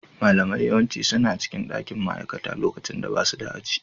Malamai yawanci suna cikin dakin ma'aikata lokacin da basu da aji.